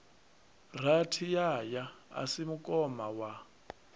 rathiyaya a si mukoma wa